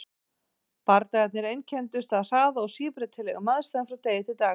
Bardagarnir einkenndust af hraða og síbreytilegum aðstæðum frá degi til dags.